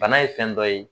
Bana ye fɛn dɔ ye